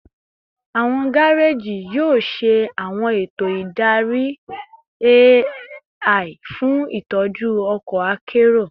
Awọn gareji yoo ṣe awọn eto idari AI fun itọju ọkọ akero